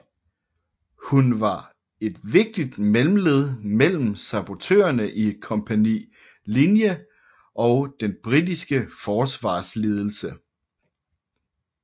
Hun var et vigtigt mellemled mellem sabotørene i Kompani Linge og den britiske forsvarsledelse